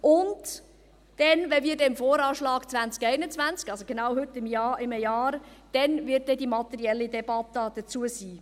Und zum VA 2021, also genau heute in einem Jahr, wird dann die materielle Debatte dazu stattfinden.